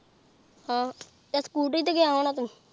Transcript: ਹਾਂ ਤੇ ਸਕੂਟਰੀ ਤੇ ਗਿਆ ਹੁਣਾ ਤੂ?